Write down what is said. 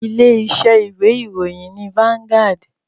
Ilé iṣẹ́ ìwé ìròyìn ni Vangaud.